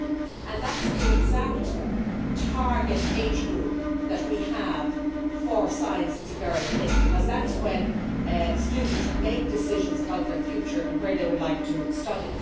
18. That is the exact target age group that we have for Science It's a girl thing' because that is when students make decisions about their future and where they would like to study.